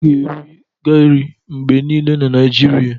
A ga-eri gari mgbe niile n'Naijiria.